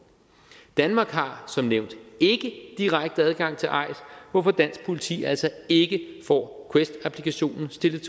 danmark har som nævnt ikke direkte adgang til eis hvorfor dansk politi altså ikke får quest applikationen stillet